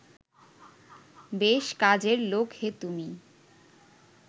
বেশ কাজের লোক হে তুমি